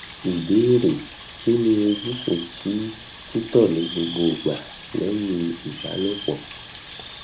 ìbéèrè kí ni ojútùú sí tito nigbogbo igba lẹyìn ìbálòpọ